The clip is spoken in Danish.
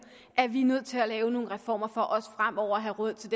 at vi er nødt til at lave nogle reformer for også fremover at have råd til